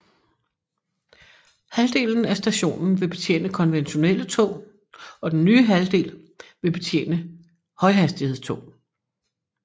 Halvdelen af stationen vil betjene konventionelle tog og den nye halvdel vil betjene højhastighedstog